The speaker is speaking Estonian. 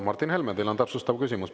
Martin Helme, teil on täpsustav küsimus.